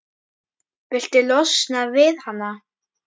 Viltu losna við hana?